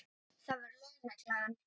Það var lögreglan.